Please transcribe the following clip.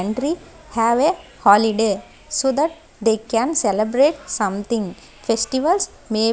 entry have a holiday so that they can celebrate something festivals may --